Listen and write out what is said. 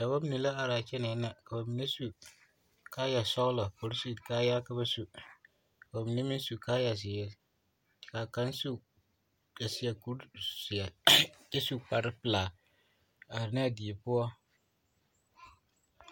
Dɔbɔ mine la are kyɛnɛɛna ka bamine su kaaya sɔgelɔ polisiri kaayaa ka ba su ka bamine meŋ su kaaya zeere k'a kaŋ su a seɛ kuri zeɛ kyɛ su kpare pelaa are ne a die poɔ.